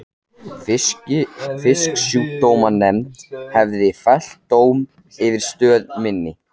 Fisksjúkdómanefnd hafði fellt dóm yfir stöð minni.